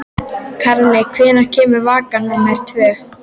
Karli, hvenær kemur vagn númer tvö?